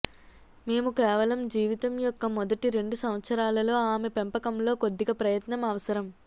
మేము కేవలం జీవితం యొక్క మొదటి రెండు సంవత్సరాలలో ఆమె పెంపకంలో కొద్దిగా ప్రయత్నం అవసరం